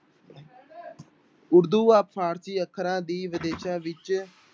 ਉਰਦੂ ਫ਼ਾਰਸ਼ੀ ਅੱਖਰਾਂ ਦੀ ਵਿਦੇਸ਼ਾਂ ਵਿੱਚ